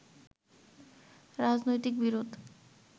রাজনৈতিক বিরোধ